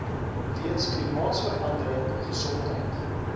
weens klimaatsverandering gesondheid